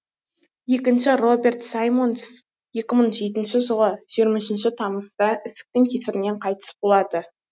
екінші роберт саймондс екі мың жетінші жылы жиырма үшінші тамызда ісіктің кесірінен қайтыс болады